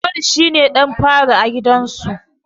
Auwalu shi ne ɗan fari a gidansu.